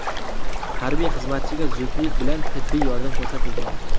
Harbiy xizmatchiga zudlik bilan tibbiy yordam ko‘rsatilgan.